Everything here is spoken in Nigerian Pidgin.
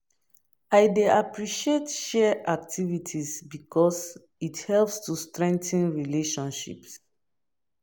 I dey appreciate shared activities because it helps to strengthen relationships.